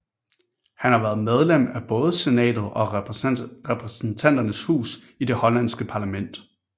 Han har været medlem af både senatet og repræsentanternes hus i det hollandske parlament